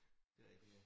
Det rigtigt ja